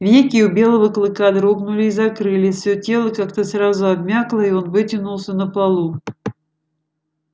веки у белого клыка дрогнули и закрылись всё тело как-то сразу обмякло и он вытянулся на полу